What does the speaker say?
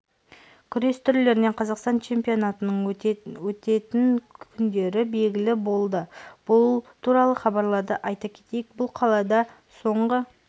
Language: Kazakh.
күрес түрлерінен қазақстан чемпионатының өтетеін күндері белгілі болды бұл туралы хабарлады айта кетейік бұл қалада соңғы